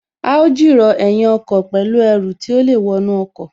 A ó jìrọ̀ ẹ̀yìn ọkọ̀ pẹ̀lú Ẹru tí ó lè wọnú ọkọ̀